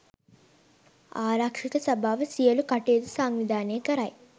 ආරක්ෂක සභාව සියලු කටයුතු සංවිධානය කරයි